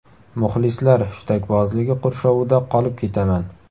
Muxlislar hushtakbozligi qurshovida qolib ketaman.